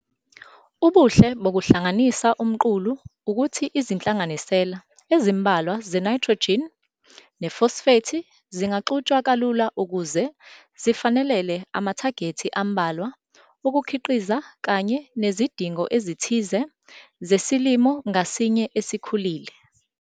Ubuhle bokuhlanganisa umqulu ukuthi izinhlanganisela ezimbalwa zenayithrojini nefosfethi zingaxutshwa kalula ukuze zifanelele amathagethi ambalwa okukhiqiza kanye nezidingo ezithize zesilimo ngasinye esikhulile.